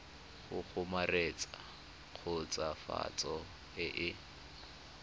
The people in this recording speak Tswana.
go kgomaretsa khutswafatso e e